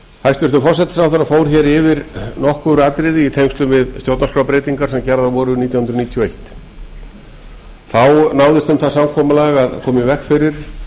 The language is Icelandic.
hæstvirtur forsætisráðherra fór yfir nokkur atriði í tengslum við stjórnarskrárbreytingar sem gerðar voru nítján hundruð níutíu og eitt þá náðist um það samkomulag að koma í veg fyrir